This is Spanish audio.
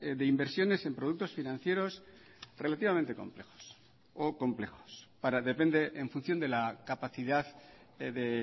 de inversiones en productos financieros relativamente complejos o complejos para depende en función de la capacidad de